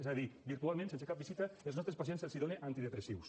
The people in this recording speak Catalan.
és a dir virtualment sense cap visita als nostres pacients se’ls dóna antidepressius